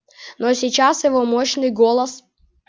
но сейчас его мощный голос